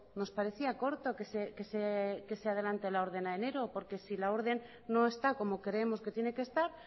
nos parecía corto que se adelante el orden a enero porque si la orden no está como creemos que tiene que estar